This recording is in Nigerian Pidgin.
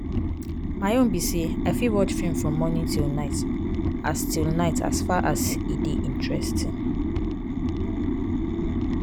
my own be say i fit watch film from morning till night as till night as far as e dey interesting.